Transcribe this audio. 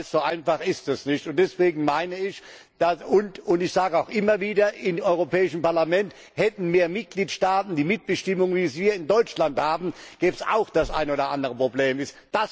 Ich weiß, so einfach ist es nicht, und deswegen meine ich und sage auch immer wieder im Europäischen Parlament Hätten mehr Mitgliedstaaten die Mitbestimmung, wie wir sie in Deutschland haben, gäbe es auch das eine oder andere Problem nicht.